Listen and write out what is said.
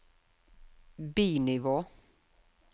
bi-nivå